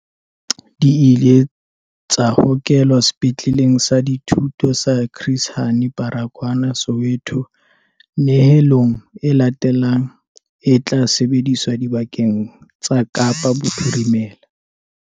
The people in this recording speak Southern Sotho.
Di ile tsa hokelwa Sepetleleng sa Dithuto sa Chris Hani Baragwanath Soweto. Nyehelo e latelang e tla sebediswa dibakeng tsa Kapa Bophirimela.